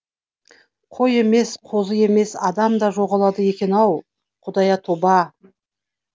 қой емес қозы емес адам да жоғалады екен ау құдая тоба